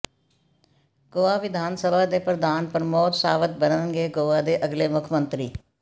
ਗੋਆ ਵਿਧਾਨ ਸਭਾ ਦੇ ਪ੍ਰਧਾਨ ਪ੍ਰਮੋਦ ਸਾਵੰਤ ਬਣਨਗੇ ਗੋਆ ਦੇ ਅਗਲੇ ਮੁੱਖ ਮੰਤਰੀ